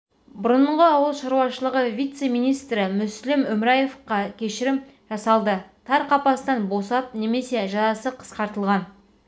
бұрынғы ауыл шаруашылығы вице-министрі мүслім өміраевқа да кешірім жасалды тар қапастан босап немесе жазасы қысқартылған